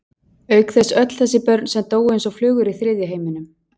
Auk þess öll þessi börn sem dóu eins og flugur í þriðja heiminum.